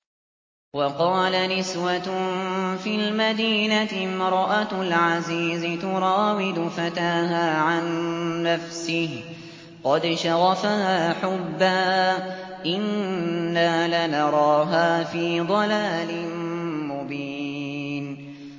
۞ وَقَالَ نِسْوَةٌ فِي الْمَدِينَةِ امْرَأَتُ الْعَزِيزِ تُرَاوِدُ فَتَاهَا عَن نَّفْسِهِ ۖ قَدْ شَغَفَهَا حُبًّا ۖ إِنَّا لَنَرَاهَا فِي ضَلَالٍ مُّبِينٍ